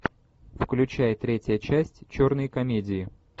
включай третья часть черные комедии